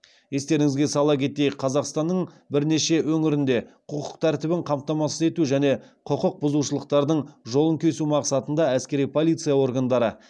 естеріңізге сала кетейік қазақстанның бірнеше өңірінде құқық тәртібін қамтамасыз ету және құқық бұзушылықтардың жолын кесу мақсатында әскери полиция органдары